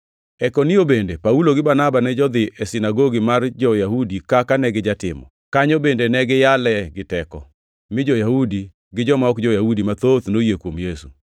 E Ikonio bende, Paulo gi Barnaba ne jodhi e sinagogi mar jo-Yahudi kaka negijatimo. Kanyo bende ne giyale gi teko, mi jo-Yahudi gi joma ok jo-Yahudi mathoth noyie kuom Yesu.